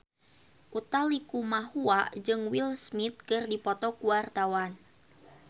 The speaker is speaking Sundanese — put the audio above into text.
Utha Likumahua jeung Will Smith keur dipoto ku wartawan